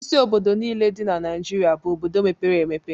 Isi obodo niile dị na Naịjirịa bụ obodo mepere emepe.